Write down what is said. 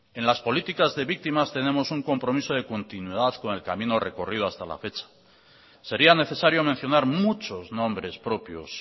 en las políticas de víctimas tenemos un compromiso de continuidad con el camino recorrido hasta la fecha sería necesario mencionar muchos nombres propios